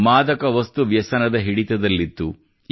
ಮಾದಕ ವಸ್ತು ವ್ಯಸನದ ಹಿಡಿತದಲ್ಲಿತ್ತು